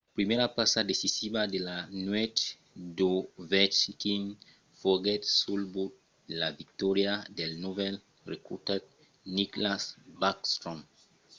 la primièra passa decisiva de la nuèch d'ovechkin foguèt sul but de la victòria del novèl recrutat nicklas backstrom;